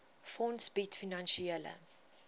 fonds bied finansiële